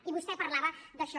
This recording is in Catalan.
i vostè parlava d’això